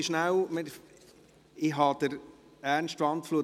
Vielen Dank, Ernst Wandfluh.